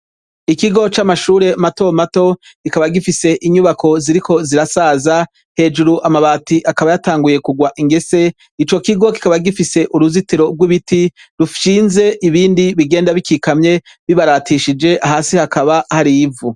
Ikigo c'amashure mato mato, kikaba gifise inyubako ziriko zirasaza, hejuru amabati akaba yatanguye kugwa ingese, ico kigo kikaba gifise uruzitiro rw'ibiti bishinze ibindi bigenda bikikamye bibaratishije, hasi hakaba hari ivu.